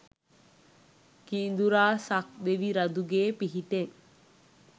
කිඳුරා සක් දෙවි රඳුගේ පිහිටෙන්